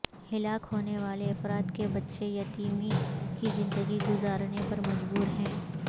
ہلاک ہونے والے افراد کے بچے یتیمی کی زندگی گزارنے پر مجبور ہیں